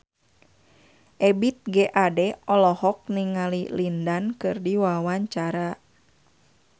Ebith G. Ade olohok ningali Lin Dan keur diwawancara